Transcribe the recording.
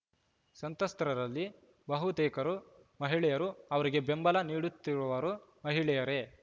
ಸಂತ್ರಸ್ತರಲ್ಲಿ ಬಹುತೇಕರು ಮಹಿಳೆಯರು ಅವರಿಗೆ ಬೆಂಬಲ ನೀಡುತ್ತಿರುವವರೂ ಮಹಿಳೆಯರೇ